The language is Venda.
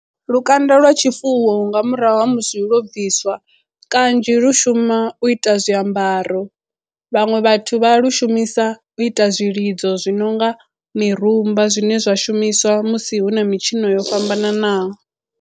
Lukanda lwa tshifuwo nga murahu ha musi lwo bviswa kanzhi lu shuma u ita zwiambaro vhaṅwe vhathu vha lu shumisa u ita zwilidzo zwi no nga mirumba zwine zwa shumiswa musi hu na mitshino yo fhambananaho.